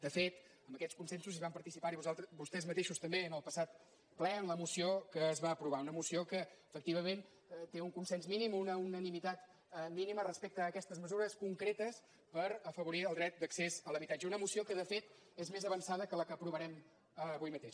de fet en aquests consensos van participar·hi vos·tès mateixos també en el passat ple en la moció que es va aprovar una moció que efectivament té un consens mínim una unanimitat mínima respecte a aquestes mesures concretes per afavorir el dret d’accés a l’ha·bitatge una moció que de fet és més avançada que la que aprovarem avui mateix